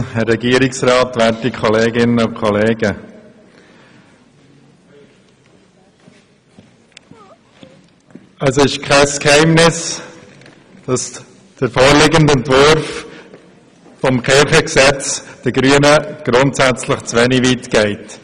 Es ist kein Geheimnis, dass der vorliegende Entwurf des Kirchengesetzes den Grünen grundsätzlich zu wenig weit geht.